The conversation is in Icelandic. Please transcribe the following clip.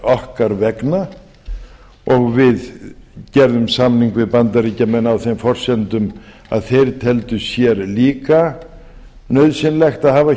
okkar vegna og við gerðum samning við bandaríkjamenn á þeim forsendum að þeir teldu sér líka nauðsynlegt að hafa